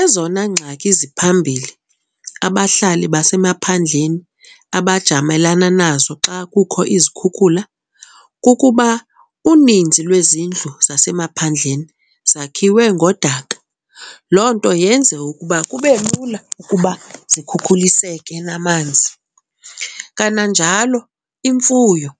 Ezona ngxaki ziphambili abahlali basemaphandleni abajamelana nazo xa kukho izikhukhula kukuba uninzi lwezindlu zasemaphandleni zakhiwe ngodaka. Loo nto yenze ukuba kube lula ukuba zikhukhuliseke namanzi. Kananjalo imfuyo